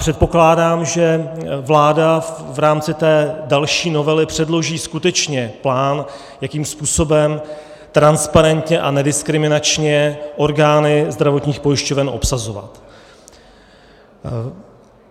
Předpokládám, že vláda v rámci té další novely předloží skutečně plán, jakým způsobem transparentně a nediskriminačně orgány zdravotních pojišťoven obsazovat.